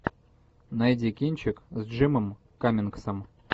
найди кинчик с джимом каммингсом